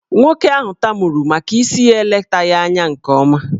Nwoke ahụ tamuru maka isi ya eletaghị anya nke ọma.